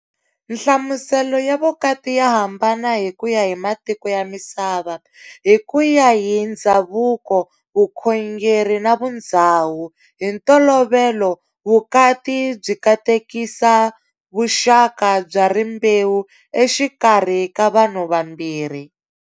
Nhlamuselo ya vukati ya hambana hi kuya hi matiko ya misava, hi kuya hi ndzhavuko, vukhongeri na vundzhawu. Hintolovelo, vukati byi katekisa vuxaka bya rimbewu exikarhi ka vanhu vambirhi.